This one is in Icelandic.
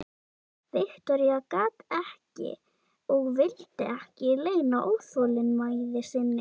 Viktoría gat ekki og vildi ekki leyna óþolinmæði sinni.